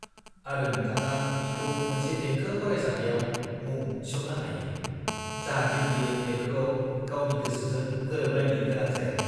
-आरो नोंथाङा बिखौ मोनसे देंखो फरायसालियाव मुं थिसन्नो हायो जाहाथे बियो देंखोआव गावनि गोसोजों गोरोबलायनो गोनां जाया।